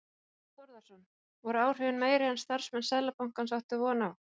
Þorbjörn Þórðarson: Voru áhrifin meiri en starfsmenn Seðlabankans áttu von á?